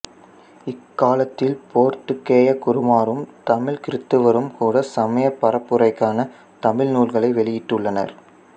இக்காலத்தில் போர்த்துக்கேயக் குருமாரும் தமிழ் கிறித்தவரும் கூட சமயப் பரப்புரைக்கான தமிழ் நூல்களை வெளியிட்டுள்ளனர்